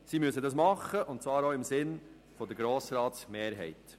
Das müssen sie tun, und zwar im Sinn der Mehrheit des Grossen Rats.